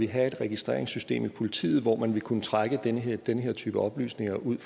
have et registreringssytem i politiet hvor man vil kunne trække den her den her type oplysninger ud